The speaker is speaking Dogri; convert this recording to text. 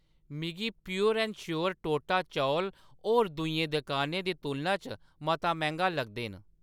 मिगी प्योर ऐंड श्योर टोटा चौल होर दूइयें दकानें दी तुलना च मता मैंह्‌‌गा लगदे न